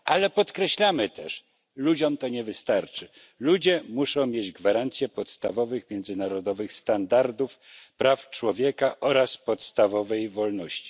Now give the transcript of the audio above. Ale podkreślamy też ludziom to nie wystarczy, ludzie muszą mieć gwarancję podstawowych, międzynarodowych standardów praw człowieka oraz podstawowych wolności.